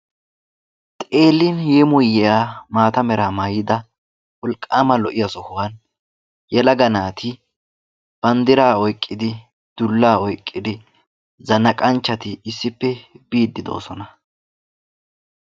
xeelin yeemmoyiyya maata mera maayyida wolwwma lo"iyaa sohuwa yelaga naati banddira oyqqidi dulla oyqqid zanaqanchchati issippe biide doosona.